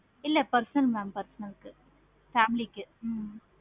இல்ல personal mam personal க்கு family க்கு